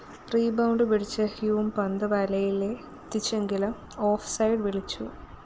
rebound പിടിച്ച Hume പന്ത് വലയിലെത്തിച്ചെങ്കിലും ഓഫ്‌ സൈഡ്‌ വിളിച്ചു